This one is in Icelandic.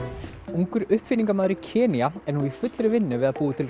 ungur uppfinningamaður í Kenýa er nú í fullri vinnu við að búa til